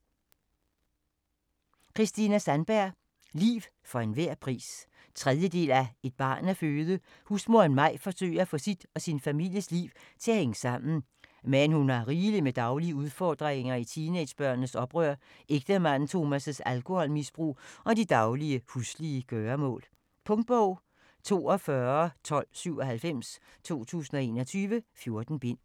Sandberg, Kristina: Liv for hver en pris 3. del af Et barn at føde. Husmoderen Maj forsøger at få sit og sin families liv til at hænge sammen. Men hun har rigeligt med daglige udfordringer i teenagebørnenes oprør, ægtemanden Tomas' alkoholmisbrug og de daglige, huslige gøremål. Punktbog 421297 2021. 14 bind.